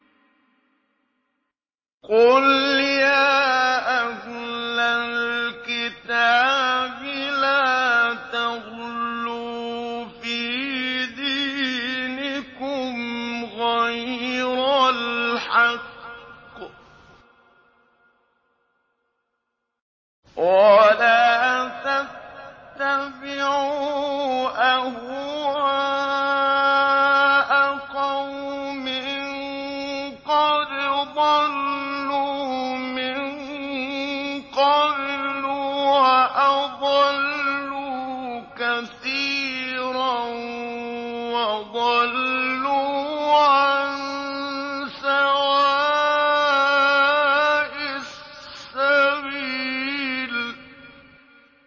قُلْ يَا أَهْلَ الْكِتَابِ لَا تَغْلُوا فِي دِينِكُمْ غَيْرَ الْحَقِّ وَلَا تَتَّبِعُوا أَهْوَاءَ قَوْمٍ قَدْ ضَلُّوا مِن قَبْلُ وَأَضَلُّوا كَثِيرًا وَضَلُّوا عَن سَوَاءِ السَّبِيلِ